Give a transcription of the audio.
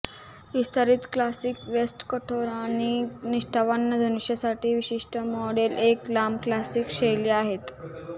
विस्तारित classic vest कठोर आणि निष्ठावान धनुष्यंसाठी विशिष्ट मॉडेल एक लांब क्लासिक शैली आहेत